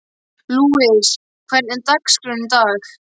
Lúis, hvernig er dagskráin í dag?